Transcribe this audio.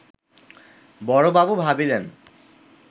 বড়বাবু ভাবিলেন